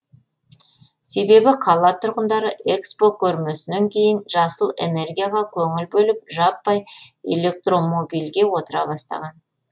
себебі қала тұрғындары экспо көрмесінен кейін жасыл энергияға көңіл бөліп жаппай электромобильге отыра бастаған